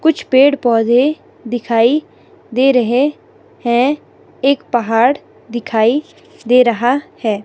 कुछ पेड़ पौधे दिखाई दे रहे है एक पहाड़ दिखाई दे रहा है।